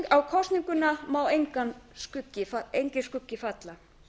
á kosninguna má enginn skuggi falla